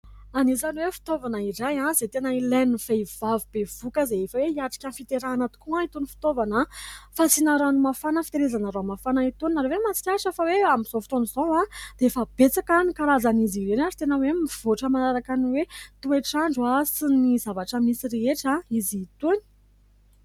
Anisany hoe fitaovana iray izay tena ilain'ny vehivavy bevoaka izay efa hoe hiatrika fiterana tokoa itony ny fitaovana fasina rano mahafana, fitehirizana rano mafana itony. Nareo ve mahatsikaritra fa hoe amin'izao fotoana izao dia efa betsaka ny karazan'izy ireny ary tena hoe mivoatra manaraka ny toetr'andro sy ny zavatra misy rehetra izy itony.